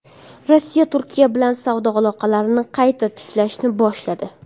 Rossiya Turkiya bilan savdo aloqalarini qayta tiklashni boshladi.